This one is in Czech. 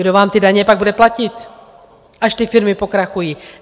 Kdo vám ty daně pak bude platit, až ty firmy pokrachují?